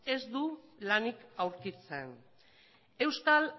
ez du lanik aurkitzen euskal